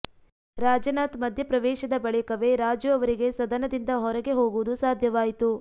ರಾಜನಾಥ್ ಮಧ್ಯಪ್ರವೇಶದ ಬಳಿಕವೇ ರಾಜು ಅವರಿಗೆ ಸದನದಿಂದ ಹೊರಗೆ ಹೋಗುವುದು ಸಾಧ್ಯವಾಯಿತು